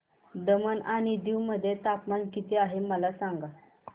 दमण आणि दीव मध्ये तापमान किती आहे मला सांगा